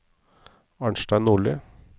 Arnstein Nordli